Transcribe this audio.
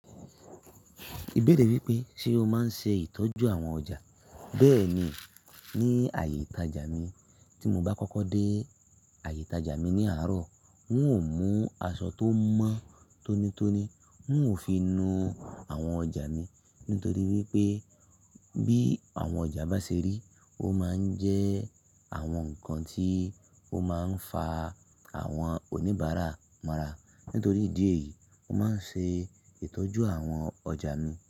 Ìbéèrè wípé ṣe o máa ń ṣe ìtọ́jú àwọn ọjà. Bẹ́ẹ̀ni, ní ààyè ìtajà mi, tí mo bá kọ́kọ́ dé ààyè ìtajà mi ní àárọ̀, n ó mú aṣọ tó mọ́ tónítóní, n ó fi nu àwọn ọjà mi. Nítorí wípé bí àwọn ọjà bá ṣe rí, ó máa ń jẹ́ àwọn nǹkan tí ó máa ń fa àwọn oníbàárà mọra. Nítorí ìdí èyí, mo máa ń ṣe ìtọ́jú àwọn ọjà mi.